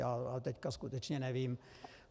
Já teď skutečně nevím.